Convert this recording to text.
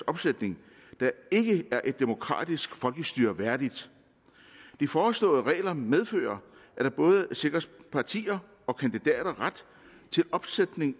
opsætning der ikke er et demokratisk folkestyre værdigt de foreslåede regler medfører at der både sikres partier og kandidater ret til opsætning